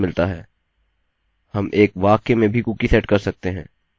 हम एक वाक्य में भी कुकी सेट कर सकते हैं